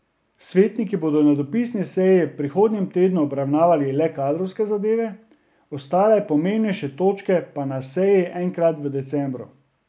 Svetniki bodo na dopisni seji v prihodnjem tednu obravnavali le kadrovske zadeve, ostale pomembnejše točke pa na seji enkrat v decembru.